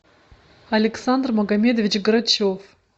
александр магамедович грачев